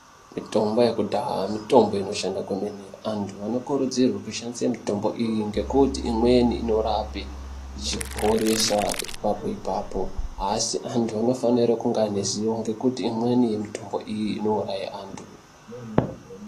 Mitombo yekudhaa mitombo inoshanda kwemene. Antu anokurudzirwe kushandise mitombo iyi ngekuti imweni inorape ichiporesa ipapo ipapo, Asi antu anofanire kunge ane ziwo ngekuti imweni yemitombo iyi inouraye antu.